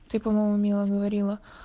ты по-моему мила говорила